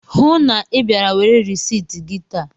Hụụ na Ị bịara were risit gị taa!